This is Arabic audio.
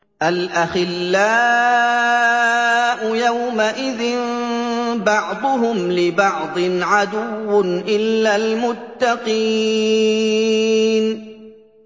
الْأَخِلَّاءُ يَوْمَئِذٍ بَعْضُهُمْ لِبَعْضٍ عَدُوٌّ إِلَّا الْمُتَّقِينَ